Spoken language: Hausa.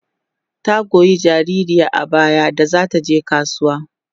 ta Goya jinjirin a baya da zata je kasuwa